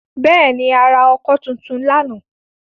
Bẹ́ẹ̀ ni, a ra ọkọ́ tuntun lánàá.